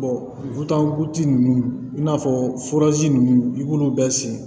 ninnu i n'a fɔ ninnu i b'olu bɛɛ sen